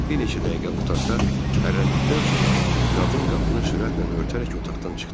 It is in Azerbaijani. Bir neçə dəqiqə otaqda hərrləndikdən sonra qadın qapını sürətlə örtərək otaqdan çıxdı.